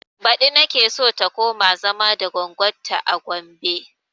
Baɗi nake so ta koma zama da goggon ta a gombe